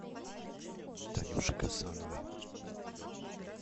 танюше гасановой